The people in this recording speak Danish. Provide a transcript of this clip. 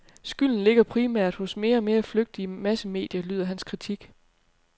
Skylden ligger primært hos mere og mere flygtige massemedier, lyder hans kritik.